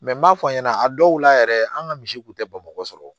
n m'a fɔ a ɲɛna a dɔw la yɛrɛ an ka misi tun tɛ bamakɔ